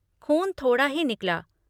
ख़ून थोड़ा ही निकला।